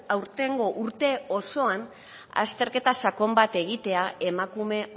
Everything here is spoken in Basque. aurtengo urte osoan azterketa sakon bat egitea emakume